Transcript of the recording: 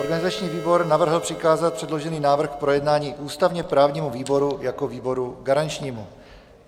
Organizační výbor navrhl přikázat předložený návrh k projednání ústavně-právnímu výboru jako výboru garančnímu.